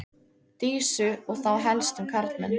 Dísu og þá helst um karlmenn.